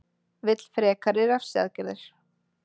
Vill frekari refsiaðgerðir